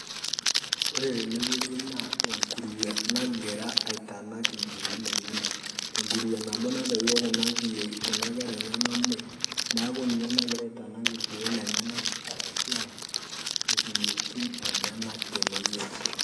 Ore tenewueji na enguruwe nagira aitanaak nkiyootin enyanak. Enguruwe naboo natouo kuna nkeraa enyenye muuj. Naa ninye naagira aitanaak lkuook lenyanak arashu aa nkiyotin enyanak tenewueji.